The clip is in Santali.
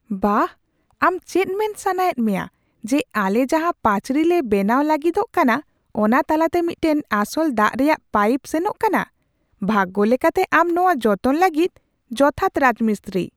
ᱵᱟᱦ! ᱟᱢ ᱪᱮᱫ ᱢᱮᱱ ᱥᱟᱱᱟᱭᱮᱫ ᱢᱮᱭᱟ ᱡᱮ ᱟᱞᱮ ᱡᱟᱦᱟ ᱯᱟᱹᱪᱨᱤ ᱞᱮ ᱵᱮᱱᱟᱣ ᱞᱟᱹᱜᱤᱫᱚᱜ ᱠᱟᱱᱟ ᱚᱱᱟ ᱛᱟᱞᱟᱛᱮ ᱢᱤᱫᱴᱟᱝ ᱟᱥᱚᱞ ᱫᱟᱜ ᱨᱮᱭᱟᱜ ᱯᱟᱭᱤᱯ ᱥᱮᱱᱚᱜ ᱠᱟᱱᱟ ? ᱵᱷᱟᱜᱽᱜᱚ ᱞᱮᱠᱟᱛᱮ, ᱟᱢ ᱱᱚᱶᱟ ᱡᱚᱛᱚᱱ ᱞᱟᱹᱜᱤᱫ ᱡᱚᱛᱷᱟᱛ ᱨᱟᱡᱽᱢᱤᱥᱛᱨᱤ ᱾